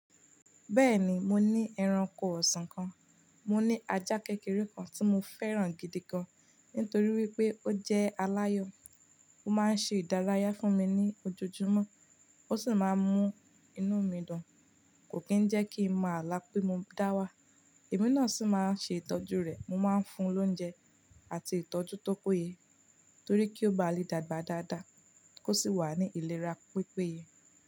Bẹ́ẹ̀ni, mo ní ẹranko ọ̀sán kan. Mo ní ajá kékeré kan tí mo fẹ́ràn gidi gan, nítorí wípé ó jẹ́ aláyọ̀. Ó máa ń ṣe ìdárayá fún mi ní ojoojúmọ́, ó sì máa ń mú inú mi dùn, kò kí ń jẹ́ kí n má alá pe mo dá wà. Ẹ̀mí náà sì máa ń ṣe ìtọ́jú rẹ̀. Mo máa ń fún un lóúnjẹ àti ìtọ́jú tó péye, torí kí ó ba lè dàgbà dáadáa, kó sì wà ní ìlera pípéye.